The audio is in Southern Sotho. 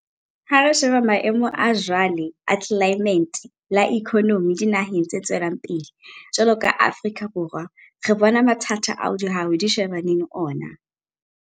Ha re sheba maemo a jwale a tlelaemete le a ikonomi dinaheng tse tswelang pele jwalo ka Afrika Borwa, re bona mathata ao dihwai di shebaneng le ona.